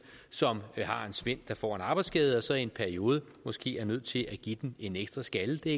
som har en svend der får en arbejdsskade og så i en periode måske er nødt til at give den en ekstra skalle det er